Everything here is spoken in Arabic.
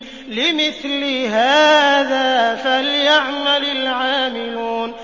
لِمِثْلِ هَٰذَا فَلْيَعْمَلِ الْعَامِلُونَ